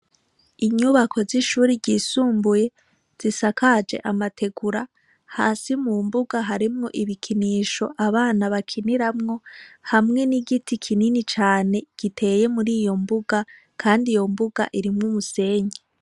Inyubako z'ishure ryisumbuye, zisakaje amategura, hasi mu mbuga harimwo ibikinisho abana bakiniramwo, hamwe n'igiti kinini cane giteye muri iyo mbuga, kandi iyo mbuga irimwo umusenyi.